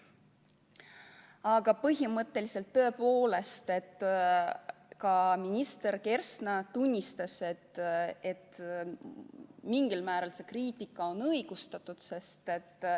Aga põhimõtteliselt tõepoolest ka minister Kersna tunnistas, et mingil määral see kriitika on õigustatud.